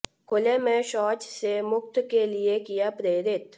खुले में शौच से मुक्त के लिए किया प्रेरित